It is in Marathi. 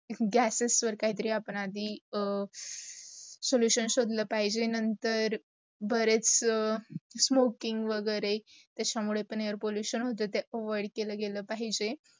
gases वर आपण आदी solution शोधला पाहिजे नंतर बरेच smoking वगैरे त्याचा मुडे पण air pollution होतात त्याला पण avoid केल पाहिजे.